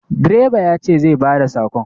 Direba ya ce zai ba da sakon.